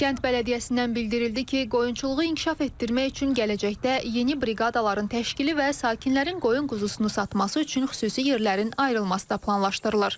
Kənd bələdiyyəsindən bildirildi ki, qoyunçuluğu inkişaf etdirmək üçün gələcəkdə yeni briqadaların təşkili və sakinlərin qoyun quzusunu satması üçün xüsusi yerlərin ayrılması da planlaşdırılır.